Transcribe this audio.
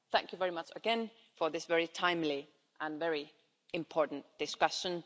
Thank you very much again for this very timely and very important discussion.